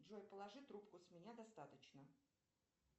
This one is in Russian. джой положи трубку с меня достаточно